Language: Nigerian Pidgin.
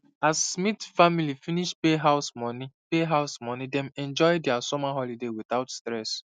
as smith family finish pay house money pay house money dem enjoy their summer holiday without stress